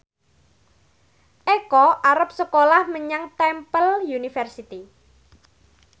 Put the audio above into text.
Eko arep sekolah menyang Temple University